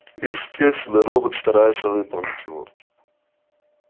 естественно робот старается выполнить его